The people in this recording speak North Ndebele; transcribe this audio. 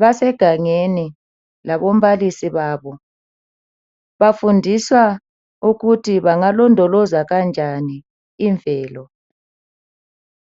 basegangeni laba balisi babo bafundiswa ukuthi bengalondoloza kanjani imvelo